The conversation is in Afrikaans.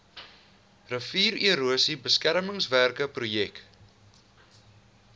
riviererosie beskermingswerke projek